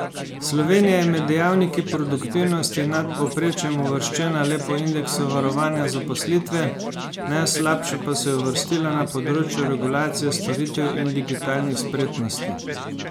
Slovenija je med dejavniki produktivnosti nad povprečjem uvrščena le po indeksu varovanja zaposlitve, najslabše pa se je uvrstila na področju regulacije storitev in digitalnih spretnosti.